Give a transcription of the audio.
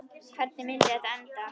Hvernig myndi þetta enda?